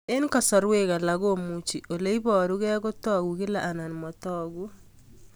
Eng'kasarwek alak komuchi ole parukei kotag'u kila anan matag'u